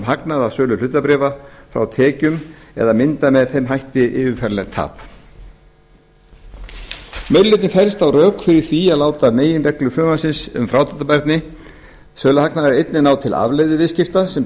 hagnað af sölu hlutabréfa frá tekjum eða mynda með þeim hætti yfirfæranlegt tap meiri hlutinn fellst á að rök séu fyrir því að láta meginreglu frumvarpsins um frádráttarbærni söluhagnaðar taka einnig til afleiðuviðskipta sem